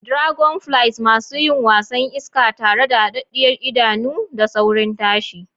Dragonflies: Masu yin wasan iska tare da hadaddiyar idanu da saurin tashi.